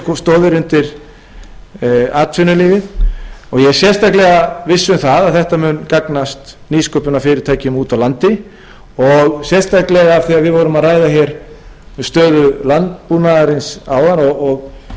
undir atvinnulífið og ég er sérstaklega viss um það að þetta mun gagnast nýsköpunarfyrirtækjum úti á landi og sérstaklega af því að við vorum að ræða hér um stöðu landbúnaðarins áðan